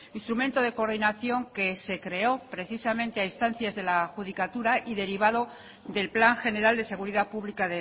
instrumento de coordinación que se creó precisamente a instancias de la adjudicatura y derivado del plan general de seguridad pública